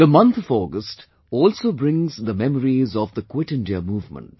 The month of August also brings the memories of 'Quit India' movement